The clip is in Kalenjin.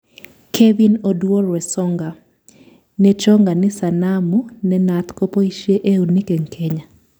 Kevin Oduor Wesonga:Nechongani sanamu nenaat kopoishei eunek eng Kenya.